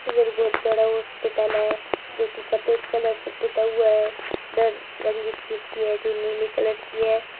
इधर बहुत सारा हॉस्पिटल है जो की सफ़ेद कलर से पुता हुआ है जो की नीले कलर की है।